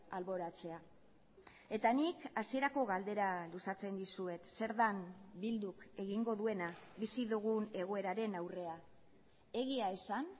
alboratzea eta nik hasierako galdera luzatzen dizuet zer den bilduk egingo duena bizi dugun egoeraren aurrean egia esan